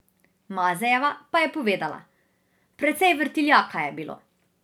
Mazejeva pa je povedala: "Precej vrtiljaka je bilo.